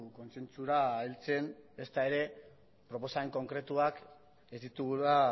kontzentzura heltzen ezta ere proposamen konkretuak ez ditugula